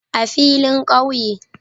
A filin kauye